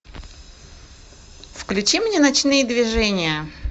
включи мне ночные движения